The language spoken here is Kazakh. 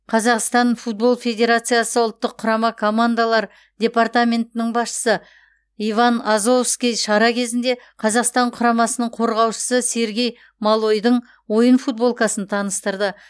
қазақстан футбол федерациясы ұлттық құрама командалар департаментінің басшысы иван азовский шара кезінде қазақстан құрамасының қорғаушысы сергей малойдың ойын футболкасын таныстырды